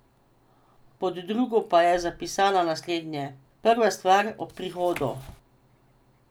Pod drugo pa je zapisala naslednje: ''Prva stvar ob prihodu.